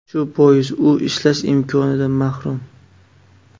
Shu bois u ishlash imkonidan mahrum.